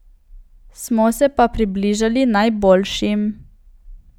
Smo se pa približali najboljšim.